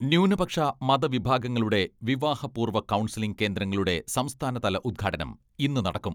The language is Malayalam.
ന്യൂനപക്ഷ മത വിഭാഗങ്ങളുടെ വിവാഹ പൂർവ്വ കൗൺസിലിംഗ് കേന്ദ്രങ്ങളുടെ സംസ്ഥാന തല ഉദ്ഘാടനം ഇന്ന് നടക്കും.